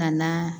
Ka na